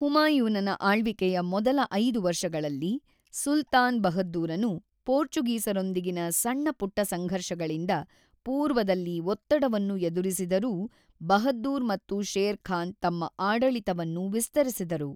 ಹುಮಾಯೂನನ ಆಳ್ವಿಕೆಯ ಮೊದಲ ಐದು ವರ್ಷಗಳಲ್ಲಿ, ಸುಲ್ತಾನ್ ಬಹದ್ದೂರನು ಪೋರ್ಚುಗೀಸರೊಂದಿಗಿನ ಸಣ್ಣಪುಟ್ಟ ಸಂಘರ್ಷಗಳಿಂದ ಪೂರ್ವದಲ್ಲಿ ಒತ್ತಡವನ್ನು ಎದುರಿಸಿದರೂ, ಬಹದ್ದೂರ್ ಮತ್ತು ಶೇರ್ ಖಾನ್ ತಮ್ಮ ಆಡಳಿತವನ್ನು ವಿಸ್ತರಿಸಿದರು.